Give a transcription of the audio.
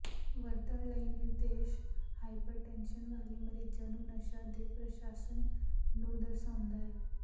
ਵਰਤਣ ਲਈ ਨਿਰਦੇਸ਼ ਹਾਈਪਰਟੈਨਸ਼ਨ ਵਾਲੇ ਮਰੀਜ਼ਾਂ ਨੂੰ ਨਸ਼ਾ ਦੇ ਪ੍ਰਸ਼ਾਸਨ ਨੂੰ ਦਰਸਾਉਂਦਾ ਹੈ